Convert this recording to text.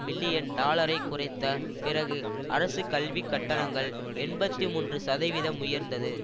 million டாலரை குறைத்த பிறகு அரசு கல்விக் கட்டணங்கள் எண்பத்தி மூன்று சதவிதம் உயர்ந்தது